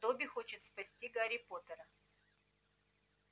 добби хочет спасти гарри поттера